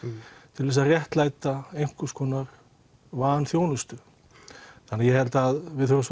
til þess að einhvers konar vanþjónustu þannig að ég held að við þurfum